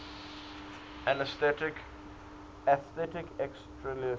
atheistic existentialism